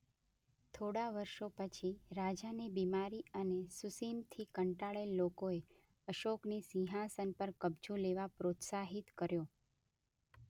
થોડા વર્ષો પછી રાજાની બિમારી અને સુસિમથી કંટાળેલ લોકોએ અશોકને સિંહાસન પર કબ્જો લેવા પ્રોત્સાહિત કર્યો.